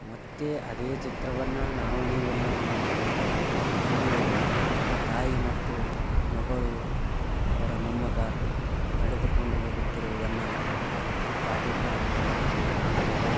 ಮತ್ತೆ ಅದೇ ಚಿತ್ರವನ್ನು ನಾವು ನೀವು ನೋಡುತ್ತೇವೆ. ಇಲ್ಲಿ ಒಬ್ಬ ತಾಯಿ ಮತ್ತು ಮಗಳು ಅವರ ಮೊಮ್ಮಗ ನಡೆದುಕೊಂಡು ಹೋಗುತ್ತಿರುವುದನ್ನು ಈ ಪಾಟೀಲ್ ಪ್ಲಾನೆಟ್ ಅಲ್ಲಿ ಕಾಣುತ್ತೇವೆ.